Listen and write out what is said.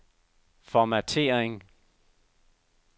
formattering